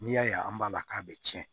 N'i y'a ye an b'a k'a bɛ cɛn